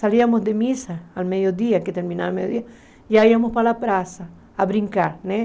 Salíamos de missa, ao meio-dia, que terminava ao meio-dia, e aí íamos para a praça, a brincar, né?